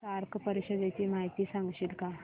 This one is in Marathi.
सार्क परिषदेची माहिती सांगशील का